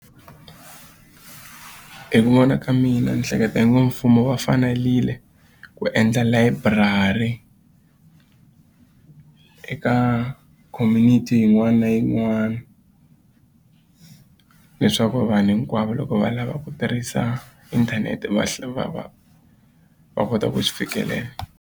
Hi ku vona ka mina ni hleketa i ngo mfumo va fanerile ku endla layiburari eka community yin'wana na yin'wana leswaku vanhu hinkwavo loko va lava ku tirhisa inthanete va va va va kota ku swi fikelela.